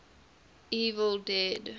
evil dead